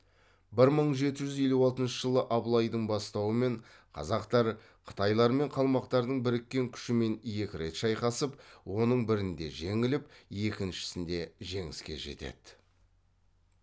бір мың жеті жүз елу алтыншы жылы абылайдың бастауымен қазақтар қытайлар мен қалмақтардың біріккен күшімен екі рет шайқасып оның бірінде жеңіліп екіншісінде жеңіске жетеді